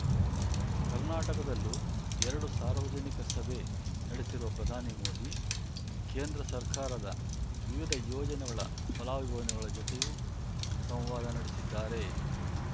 ಕರ್ನಾಟಕದಲ್ಲೂ ಎರಡು ಸಾರ್ವಜನಿಕ ಸಭೆ ನಡೆಸಿರುವ ಪ್ರಧಾನಿ ಮೋದಿ ಕೇಂದ್ರ ಸರ್ಕಾರದ ವಿವಿಧ ಯೋಜನೆಗಳ ಫಲಾನುಭವಿಗಳ ಜತೆಯೂ ಸಂವಾದ ನಡೆಸಿದ್ದಾರೆ